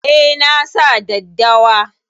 Eh, nasa daddawa